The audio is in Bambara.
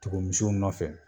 Tugun misiw nɔfɛ